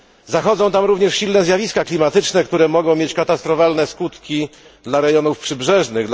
Zachodzą tam również silne zjawiska klimatyczne, które mogą mieć katastrofalne skutki dla regionów przybrzeżnych.